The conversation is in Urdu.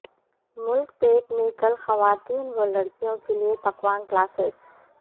ملک پیٹ میں کل خواتین و لڑکیوں کے لیے پکوان کلاسیس